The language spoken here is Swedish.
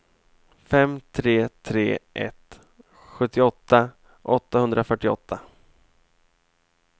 fem tre tre ett sjuttioåtta åttahundrafyrtioåtta